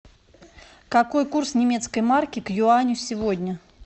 какой курс немецкой марки к юаню сегодня